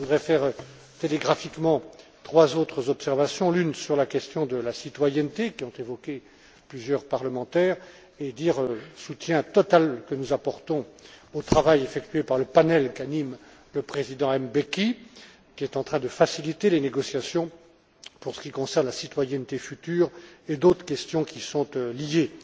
Voilà, je voudrais faire télégraphiquement trois autres observations l'une sur la question de la citoyenneté, évoquée par plusieurs parlementaires, en disant le soutien total que nous apportons au travail effectué par le panel qu'anime le président Mbeki, qui est en train de faciliter les négociations concernant la citoyenneté future et d'autres questions qui sont liées